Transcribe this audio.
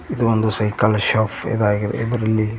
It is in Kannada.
ಇದೊಂದು ಸೈಕಲ್ ಶಾಪ್ ಇದಾಗಿದೆ ಇದರಲ್ಲಿ.